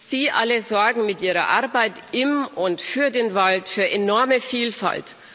Sie alle sorgen mit ihrer Arbeit im und für den Wald für enorme Vielfalt.